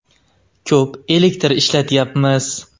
Ko‘p elektr ishlatyapmiz.